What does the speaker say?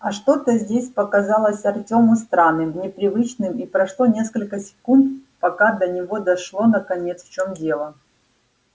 а что-то здесь показалось артёму странным непривычным и прошло несколько секунд пока до него дошло наконец в чём дело